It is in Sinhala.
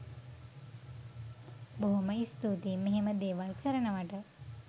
බොහොම ස්තුතියි මෙහෙම දේවල් කරනවට